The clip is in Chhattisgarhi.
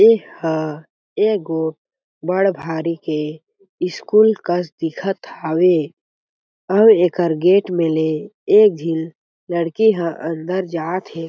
ए हा एगो बढ़ भारी के स्कूल कस दिखत हावे आऊ एकर गेट में ले झीन लडकी हा अंदर जात थे।